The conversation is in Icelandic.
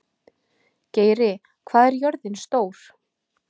Geiri, hvað er jörðin stór?